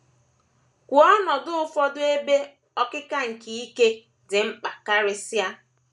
Kwuo ọnọdụ ụfọdụ ebe “ ọkịka nke ike ” dị mkpa karịsịa.